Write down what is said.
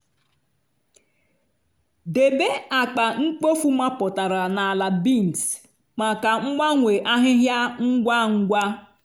debe akpa mkpofu mapụtara na ala bins maka mgbanwe ahịhịa ngwa ngwa.